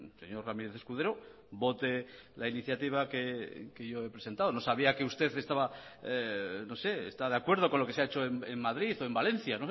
señor ramírez escudero vote la iniciativa que yo he presentado no sabía que usted está de acuerdo con lo que se ha hecho en madrid o en valencia